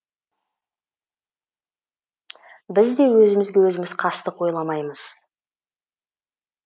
біз де өзімізге өзіміз қастық ойламаймыз